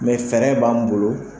fɛɛrɛ b'an bolo